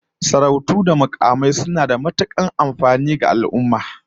Sarautu da mukamai suna da matukar amfani ga al'ummar mu